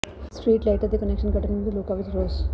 street ਲਾਈਟਾਂ ਦੇ connection ਕੱਟਣ ਵਿਰੁੱਧ ਲੋਕਾਂ ਵਿੱਚ ਰੋਸ